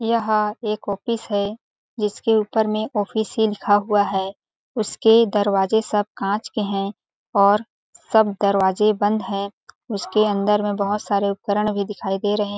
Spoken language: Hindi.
यहाँ एक ऑफिस है जिसके ऊपर में ऑफिस ही लिखा हुआ है उसके दरवाज़े सब काँच के है और सब दरवाज़े बंद है उसके अंदर में बहोत सारे उपकरण भी दिखाई दे रहे।